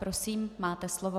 Prosím, máte slovo.